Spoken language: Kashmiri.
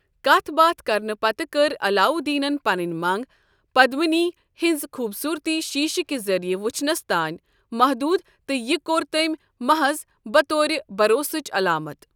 کَتھ باتھِ كرنہٕ پتہٕ کٔر علاودیٖنن پنٕنۍ منٛگ پدمِنی ہٕنٛز خوٗبصوٗرتی شیٖشہٕ کہِ ذٔریعہٕ وٕچھنس تانۍ محدوٗد تہٕ یہِ كوٚر تمہِِ محظ بطور بَروسٕچ عَلامت۔